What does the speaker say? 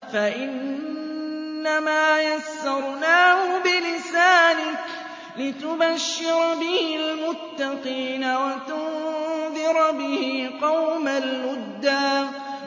فَإِنَّمَا يَسَّرْنَاهُ بِلِسَانِكَ لِتُبَشِّرَ بِهِ الْمُتَّقِينَ وَتُنذِرَ بِهِ قَوْمًا لُّدًّا